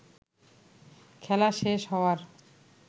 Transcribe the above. খেলা শেষ হওয়ার